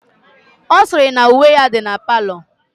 Ọ sịrị na uwe ya dị na palọ